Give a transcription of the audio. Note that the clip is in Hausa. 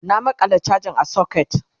na maƙala chajan a socket